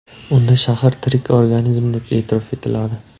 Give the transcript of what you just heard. Unda shahar tirik organizm deb e’tirof etiladi.